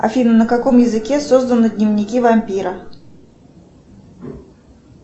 афина на каком языке созданы дневники вампира